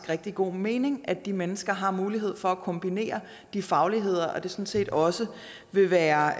rigtig god mening at de mennesker har mulighed for at kombinere de fagligheder og at det sådan set også vil være